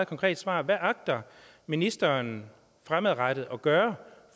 konkret svar hvad agter ministeren fremadrettet at gøre